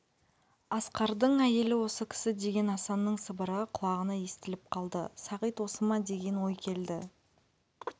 асқардың әйелі осы кісі деген асанның сыбыры құлағына естіліп қалды сағит осы ма деген ой келді